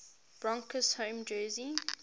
broncos home jersey